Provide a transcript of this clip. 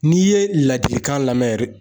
N'i ye laadilikan lamɛn yɛrɛ